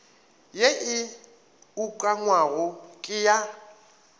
ye e ukangwago ke ya